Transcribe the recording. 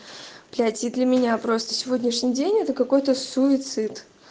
блять и для меня просто сегодняшний день это какой-то суицид